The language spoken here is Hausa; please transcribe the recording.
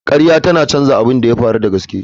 Ƙarya tana canza abin da ya faru da gaske.